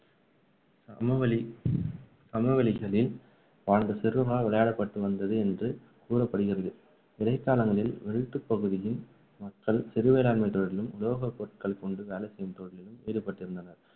சமவெளி சமவெளிகளில் வாழ்ந்த சிறுவர்களால் விளையாடப்பட்டு வந்தது என்று கூறப்படுகிறது இடைக்காலங்களில் வேல்ட் பகுதியின் மக்கள் சிறு வேளாண்மைத் தொழிலிலும், உலோகப் பொருட்களை கொண்டு வேலை செய்யும் தொழிலிலும் ஈடுபட்டிருந்தனர்